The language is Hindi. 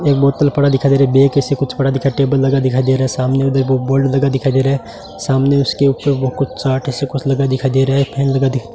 एक बोतल पड़ा दिखाई दे रहा है बियर का सा कुछ पड़ा दिखाई दे रहा है टेबल लगा दिखाई दे रहा है सामने बोर्ड लगा दिखाई दे रहा है सामने उसके ऊपर कुछ चार्ट जैसा कुछ लगा दिखाई दे रहा है फैन लगा दिखा --